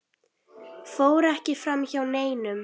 fór ekki framhjá neinum.